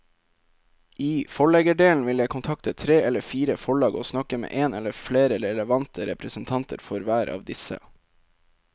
I forleggerdelen vil jeg kontakte tre eller fire forlag og snakke med en eller flere relevante representanter for hver av disse.